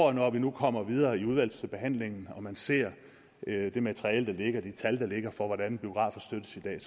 og når vi nu kommer videre i udvalgsbehandlingen og man ser det materiale der ligger de tal der ligger for hvordan biografer støttes i dag